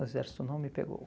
O exército não me pegou.